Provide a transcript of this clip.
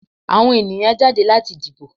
Àwọn ènìyàn jáde láti dìbò.